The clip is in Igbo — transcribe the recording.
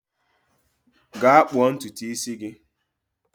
Gaa kpuo ntutu isi gi!